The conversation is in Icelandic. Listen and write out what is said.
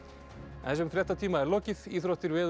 þessum fréttatíma er lokið íþróttir veður og